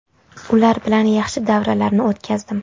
Ular bilan yaxshi davrlarni o‘tkazdim.